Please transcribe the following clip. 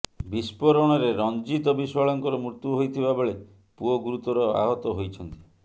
ବିସ୍ଫୋରଣରେ ରଞ୍ଜିତ ବିଶ୍ବାଳଙ୍କର ମୃତ୍ୟୁ ହୋଇଥିବା ବେଳେ ପୁଅ ଗୁରୁତର ଆହତ ହୋଇଛନ୍ତି